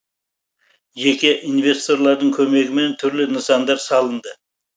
жеке инвесторлардың көмегімен түрлі нысандар салынды